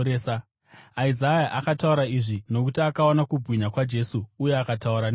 Isaya akataura izvi nokuti akaona kubwinya kwaJesu uye akataura nezvake.